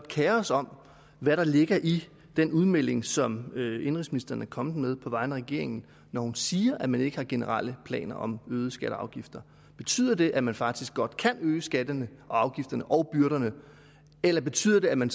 kerer os om hvad der ligger i den udmelding som indenrigsministeren er kommet med på vegne af regeringen når hun siger at man ikke har generelle planer om øgede skatter og afgifter betyder det at man faktisk godt kan øge skatterne afgifterne og byrderne eller betyder det at man